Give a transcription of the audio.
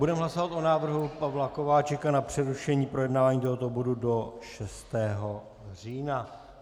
Budeme hlasovat o návrhu Pavla Kováčika na přerušení projednávání tohoto bodu do 6. října.